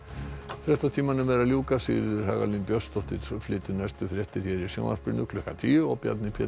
fréttatímanum er að ljúka Sigríður Hagalín Björnsdóttir flytur næstu fréttir hér í sjónvarpinu klukkan tíu og Bjarni Pétur